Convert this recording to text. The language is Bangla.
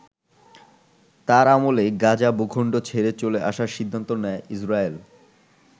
তার আমলেই গাজা ভূখন্ড ছেড়ে চলে আসার সিদ্ধান্ত নেয় ইসরায়েল।